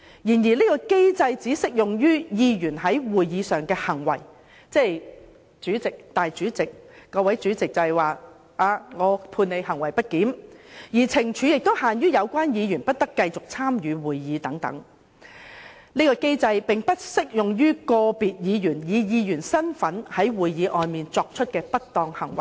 然而，這個機制只適用於議員在會議上的行為，即由主席裁決某位議員在會議上行為不檢，而懲罰亦只限於有關議員不得繼續參與會議，但並不適用於個別議員以議員身份在會議外作出的不當行為。